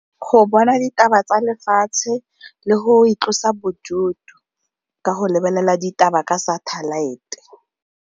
Go bona ditaba tsa lefatshe le go itlosa bodutu ka go lebelela ditaba ka satellite.